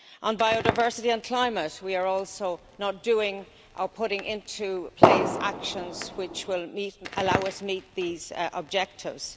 On biodiversity and climate, we are also not doing or putting into place actions which will allow us to meet these objectives.